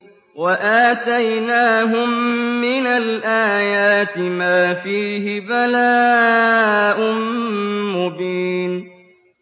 وَآتَيْنَاهُم مِّنَ الْآيَاتِ مَا فِيهِ بَلَاءٌ مُّبِينٌ